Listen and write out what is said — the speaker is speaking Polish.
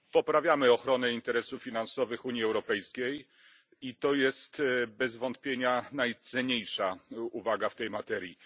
Poprawiamy ochronę interesów finansowych Unii Europejskiej i to jest bez wątpienia najcenniejsza uwaga w tej materii.